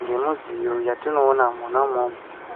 ngemudziyo yatinoona mwona umwomwo.